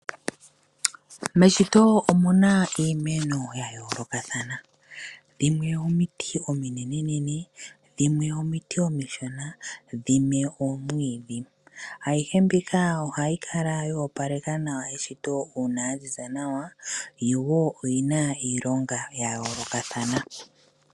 Meshito omuna iimeno ya yoolokathana dhimwe omiti ominenene dhimwe omiti omishona, dhimwe oomwiidhi. Ayihe mbika ohayi kala yo opaleka nawa eshito uuna ya ziza nawa yo woo oyi na iilonga ya yoolokathana.